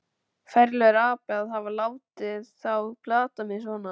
Ferlegur api að hafa látið þá plata mig svona.